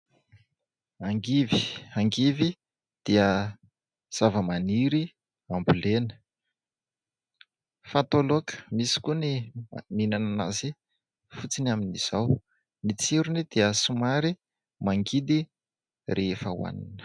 Angivy dia zavamaniry ambolena. Fatao laoka misy koa ny mihinana azy fotsiny amin'izao. Ny tsirony dia somary mangidy rehefa hohanina.